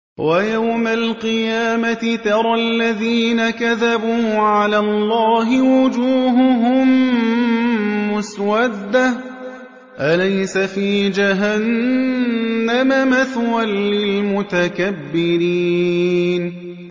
وَيَوْمَ الْقِيَامَةِ تَرَى الَّذِينَ كَذَبُوا عَلَى اللَّهِ وُجُوهُهُم مُّسْوَدَّةٌ ۚ أَلَيْسَ فِي جَهَنَّمَ مَثْوًى لِّلْمُتَكَبِّرِينَ